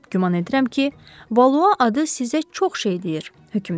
Güman edirəm ki, Valua adı sizə çox şey deyir, hökmdar.